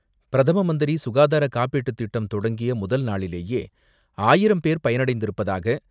பிரதம மந்திரி சுகாதார காப்பீட்டு திட்டம் தொடங்கிய முதல் நாளிலேயே ஆயிரம் பேர் பயனடைந்திருப்பதாக